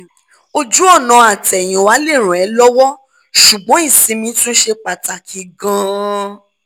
ojú ọ̀nà àtẹ̀yìnwá lè ràn ẹ́ lọ́wọ́ ṣùgbọ́n ìsinmi tún ṣe pàtàkì gan - an